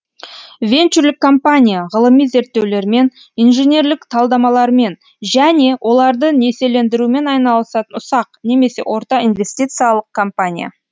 венчурлік компания ғылыми зерттеулермен инженерлік талдамалармен және оларды несиелендірумен айналысатын ұсақ немесе орта инвестициялық компания